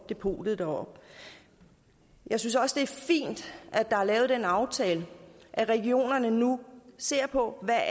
depotet deroppe jeg synes også det er fint at der er lavet den aftale at regionerne nu ser på hvad